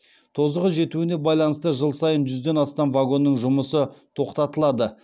тозығы жетуіне байланысты жыл сайын жүзден астам вагонның жұмысы тоқтатылады